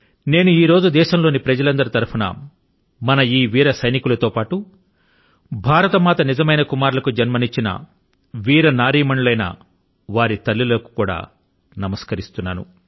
నేను ఈ రోజు దేశం లోని ప్రజలందరి తరపున మన ఈ వీర సైనికులతో పాటు భారత మాత నిజమైన కుమారులకు జన్మనిచ్చిన వీరనారీమణులైన వారి తల్లులకు కూడా నమస్కరిస్తున్నాను